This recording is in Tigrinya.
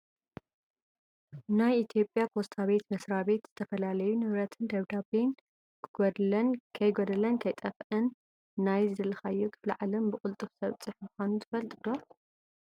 ናይ ኢትዮጵያ ፖስታ ቤት መስራቤት ዝተፈላለዩ ንብረትን ደብዳቤን ከጎደለን ከይጠፈኣን ናይ ዝደለካዮ ክፍለ ዓለም ብቅሉጡፍ ዘብፅሕ ምኳኑ ትፈልጡ ዶ ?